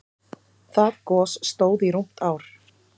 Það gos stóð í rúmt ár.